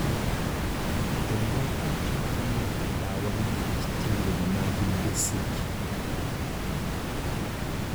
Jomoko chako madho ndawa nikech tembe mag mbesegi.